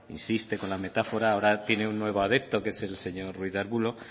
insiste con la metáfora ahora tiene un nuevo adepto que es el señor ruiz de arbulo